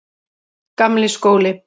Gamli skóli